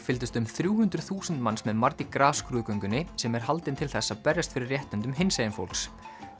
fylgdust um þrjú hundruð þúsund manns með mardi gras skrúðgöngunni sem er haldin til þess að berjast fyrir réttindum hinsegin fólks